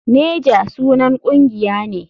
Naja sunan kungiya ne.